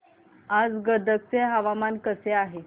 आज गदग चे हवामान कसे आहे